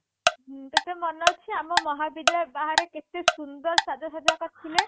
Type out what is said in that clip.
ହୁଁ ତତେ ମନ ଅଛି ଆମ ମହାବିଦ୍ୟା ବାହାରେ କେତେ ସୁନ୍ଦର ସାଜ ସାଜ୍ୟା କରିଥିଲେ